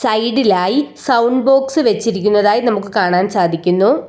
സൈഡിലായി sound box വെച്ചിരിക്കുന്നതായി നമുക്ക് കാണാൻ സാധിക്കുന്നു.